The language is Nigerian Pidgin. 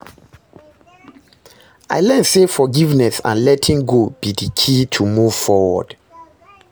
I learn say forgiveness and letting go be di key to move forward.